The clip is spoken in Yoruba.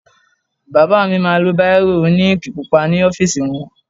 Bàbá mi ma lo báìrò òní íǹkì pupa ní ọ́fìsì wọn.